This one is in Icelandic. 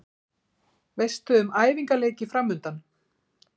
Veistu um æfingaleiki framundan?